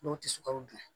N'o tɛ sukaro dilan